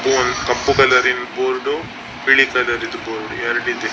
Board ಕಪ್ಪು colour ನ board ಬಿಳಿ ಕಲರ್ ದು ಬೋರ್ಡ್ ಎರಡಿದೆ.